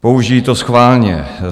Použijí to schválně.